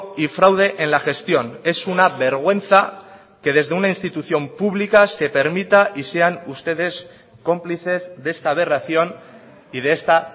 y fraude en la gestión es una vergüenza que desde una institución pública se permita y sean ustedes cómplices de esta aberración y de esta